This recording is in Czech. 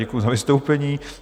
Děkuji za vystoupení.